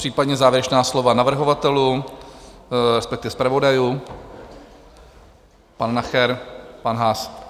Případně závěrečná slova navrhovatelů, respektive zpravodajů, pan Nacher, pan Haas?